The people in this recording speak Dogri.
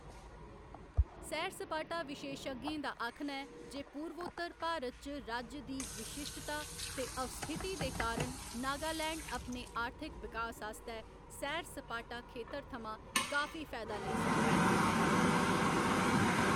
सैर सपाटा विशेशज्ञें दा आखना ऐ जे पूर्वोत्तर भारत च राज्य दी विशिश्टता ते अवस्थिति दे कारण नगालैंड अपने आर्थिक बिकास आस्तै सैर सपाटा खेतर थमां काफी फायदा लेई सकदा ऐ।